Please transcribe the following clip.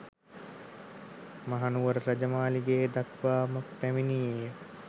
මහනුවර රජ මාලිගය දක්වා ම පැමිණියේය